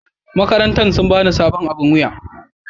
makarantan sun ba ni sabon aɓin wuya.